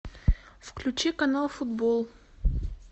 включи канал футбол